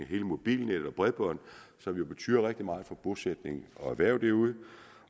hele mobilnettet og bredbånd som jo betyder rigtig meget for bosætning og erhverv derude